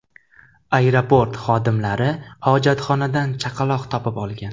Aeroport xodimlari hojatxonadan chaqaloq topib olgan.